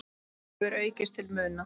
hefur aukist til muna.